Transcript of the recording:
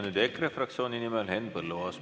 Nüüd EKRE fraktsiooni nimel Henn Põlluaas.